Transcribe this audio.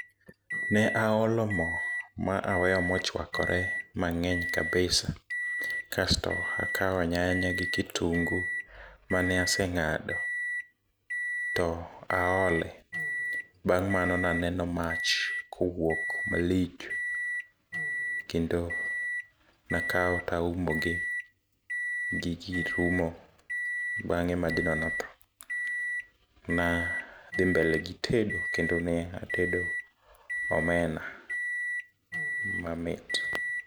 Ne aolo mo ma aweyo mochuakore mang'eny kabisa kasto akao nyanya gi kitungu mane aseng'ado to aole. Bang' mano naneno mach kowuok malich kendo nakao taumogi gi gir umo, bang'e majno nodho. Nadhi mbele gi tedo kendo ne atedo omena mamit.